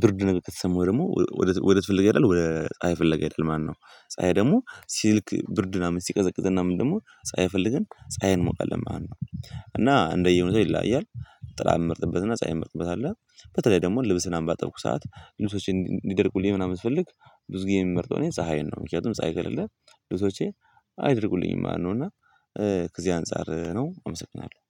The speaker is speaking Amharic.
ብርድ ከተሰማው ደግሞ ወደት ፍለጋ ይሄዳል ፀሀይ ፍለጋ ይሄዳል ማለት ነው። ፀሀይ ደግሞ ሲልክ ብርድና ሲቀዘቅዝ እና ምን ደግሞ ፀሀይ ፈልገን ፀሀይን እንሞቃለን ማለት ነው። እና እንደየ ሁኔታው ይለያያል። ጥላ ምመርጥበትና ፀሀይ ምመርጥበት አለ በተለይ ደግሞ ልብስን ምናምን ባጠብኩ ሰዓት ልብሶቼን ሊደርቁልኝ ምናምን ስፈልግ ብዙ ጊዜ የሚመርጠው እኔ ፀሀይን ነው ምክንያቱም ፀሀይ ከሌለ ልብሶቼ አይደርቁልኝም ማለት ነው። እና ከዚህ አንፃር ነው አመሰግናለሁ